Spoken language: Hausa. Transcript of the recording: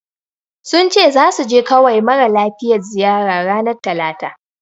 Sun ce zasu je kawai mara lafiyar ziyara. ranar talata.